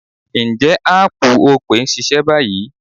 Ǹjẹ́ áàpù Opay ń ṣiṣẹ́ báyìí?